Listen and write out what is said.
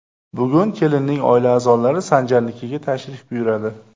Bugun kelinning oila a’zolari Sanjarnikiga tashrif buyuradi.